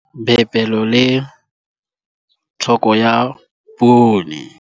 Theibole ya 1. Phepelo le tlhoko ya poone.